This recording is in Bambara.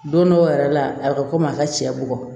Don dɔw yɛrɛ la a bɛ komi a ka cɛ bugɔ